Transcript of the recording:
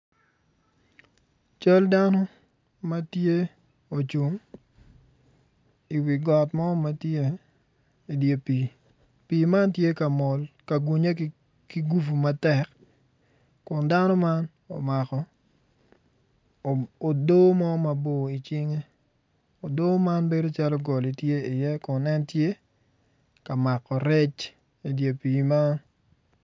Cal dano ma tye ocung iwi got mo ma tye dye pii. Pii man tye ka mol ka gunye ki gufu matek Kun dano man omako odoo mo mabor icinge odoo man bedo calo goli tye iye kun en tye ka mako rex idye pii man